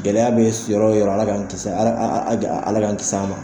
Gɛlɛya bɛ yɔrɔ yɔrɔ Ala k'an kisi .Ala a a a Ala K'an kisi a ma.